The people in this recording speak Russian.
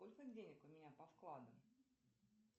сколько денег у меня по вкладам